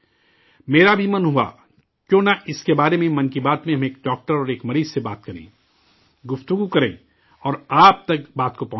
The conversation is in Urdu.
میرا بھی من ہوا کہ کیوں نہ اس کے بارے میں 'من کی بات' میں ہم ایک ڈاکٹر اور ایک مریض سے بات کریں، مذاکرہ کریں اور آپ تک بات کو پہنچائیں